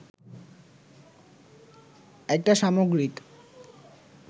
এটা সামগ্রিক